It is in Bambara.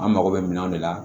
An mako bɛ minanw de la